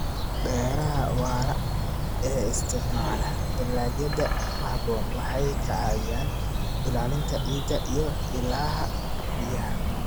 Beeraha waara ee isticmaala dalagyada ku haboon waxay ka caawiyaan ilaalinta ciidda iyo ilaha biyaha.